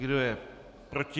Kdo je proti?